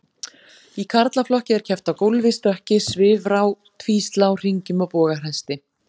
Í karlaflokki er keppt á gólfi, stökki, svifrá, tvíslá, hringjum og bogahesti.